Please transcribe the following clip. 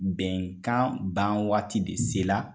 Bɛnkan ban waati de se la